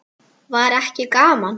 Var ekki gaman?